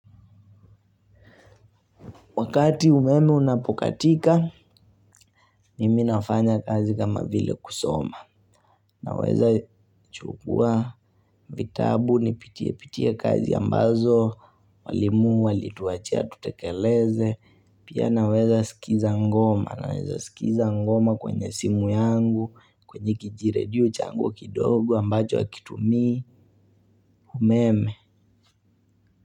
Wakati umeme unapokatika, mimi nafanya kazi kama vile kusoma. Naweza chukua vitabu, nipitie pitie kazi ambazo, walimu, walituachia, tutekeleze. Pia naweza sikiza ngoma, naweza sikiza ngoma kwenye simu yangu, kwenye kijiredio changu kidogo ambacho hakitumii umeme.